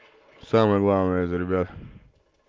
самое главное это ребята